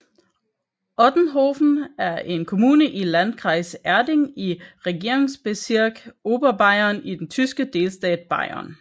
Ottenhofen er en kommune i Landkreis Erding i Regierungsbezirk Oberbayern i den tyske delstat Bayern